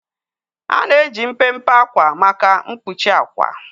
A na-eji mpempe ákwà maka mkpuchi àkwà.